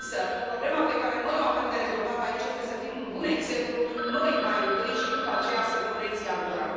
Însă, problema pe care noi o avem de rezolvat aici este să fim un bun exemplu noi, mai întâi, și după aceea să dăm lecții altora.